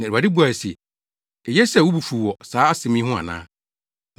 Na Awurade buae se, “Eye sɛ wo bo fuw wɔ saa asɛm yi ho ana?”